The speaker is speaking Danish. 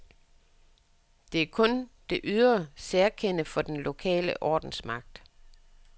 Det er kun det ydre særkende for den lokale ordensmagt.